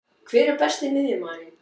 Hver er Besti miðjumaðurinn?